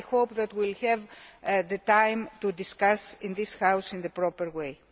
I hope that we will have the time to discuss it in this House in the proper way.